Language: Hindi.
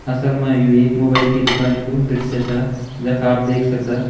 असल में यू एक मोबाइल की दूकानयू का दृश्य छा जख आप देख सकदा।